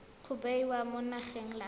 ba bewa mo lenaneng la